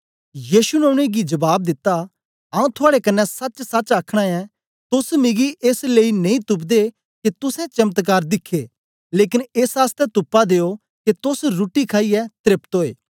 यीशु ने उनेंगी जबाब दिता आऊँ थुआड़े कन्ने सचसच आखना ऐं तोस मिगी एस लेई नेई तुपदे के तुसें चमत्कार दिखे लेकन एस आसतै तुपा दे ओ के तोस रुट्टी खाईयै त्रेपत ओए